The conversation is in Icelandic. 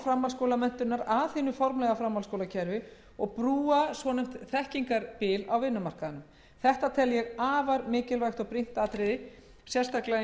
framhaldsskólamenntunar að hinu formlega framhaldsskólakerfi og brúa svonefnt þekkingarbil á vinnumarkaðinum þetta tel ég afar mikilvægt atriði sérstaklega